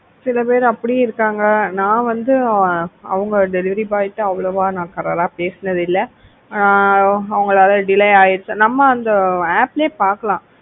சில பேர் அப்படியே இருக்காங்க நான் வந்து அவங்க delivery boy கிட்ட அவ்வளவா நான் காரரா பேசுனது இல்ல ஆஹ் அவங்களால delay ஆயிடுச்சு நம்ம அந்த app லே பாக்கலாம்.